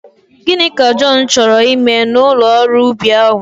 Gịnị ka Jọn chọrọ ime n'ụlọ ọrụ ubi ahụ?